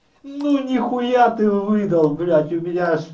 ну нехуя ты выдал блять у меня аж